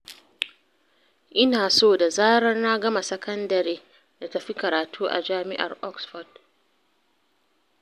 Ina so da zarar na gama sakandare na tafi karatu a Jami'ar Oxford.